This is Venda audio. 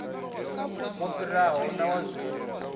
wo fhiraho na wa zwino